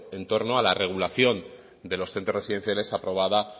en torno a la regulación de los centros residenciales aprobada